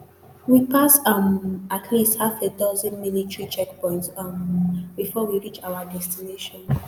we pass um at least half a dozen military checkpoints um before we reach our destination